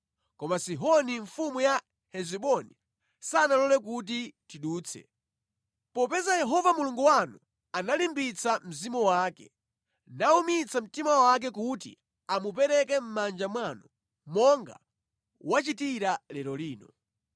Koma Sihoni mfumu ya Hesiboni sanalole kuti tidutse. Popeza Yehova Mulungu wanu analimbitsa mzimu wake, nawumitsa mtima wake kuti amupereke mʼmanja mwanu monga wachitira lero lino.